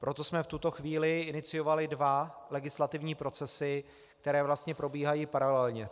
Proto jsme v tuto chvíli iniciovali dva legislativní procesy, které vlastně probíhají paralelně.